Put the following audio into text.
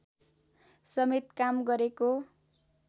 समेत काम गरेको